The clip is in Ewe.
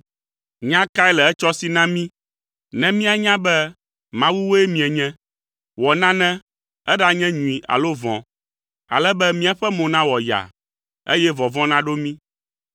Nya kae le etsɔ si na mí ne mianya be mawuwoe mienye. Wɔ nane, eɖanye nyui alo vɔ̃, ale be míaƒe mo nawɔ yaa, eye vɔvɔ̃ naɖo mí.